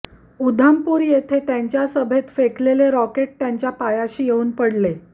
उधमपूर येथे त्यांच्या सभेत फेकलेले रॉकेट त्यांच्या पायाशी येऊन पडले